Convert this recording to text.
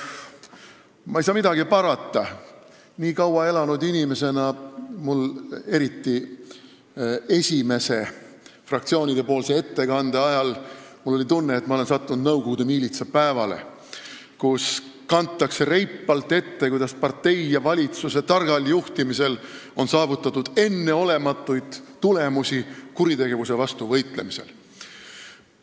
Ma ei saa midagi parata, kaua elanud inimesena oli mul, eriti esimese fraktsioonide ettekande ajal, tunne, et ma olen sattunud Nõukogude miilitsa päevale, kus kantakse reipalt ette, kuidas partei ja valitsuse targal juhtimisel on saavutatud enneolematuid tulemusi kuritegevuse vastu võitlemisel.